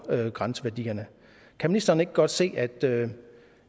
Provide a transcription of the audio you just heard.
grænseværdierne kan ministeren ikke godt se at det